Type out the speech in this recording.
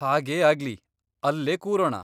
ಹಾಗೇ ಆಗ್ಲಿ! ಅಲ್ಲೇ ಕೂರೋಣ.